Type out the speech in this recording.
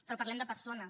però parlem de persones